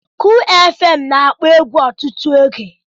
Kull fm na-akpọ egwu ọtụtụ oge.